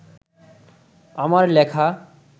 আমার লেখা